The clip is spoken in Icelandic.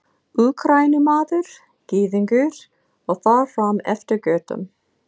Úkraínumaður, Gyðingur og þar fram eftir götum.